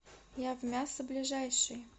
явмясо ближайший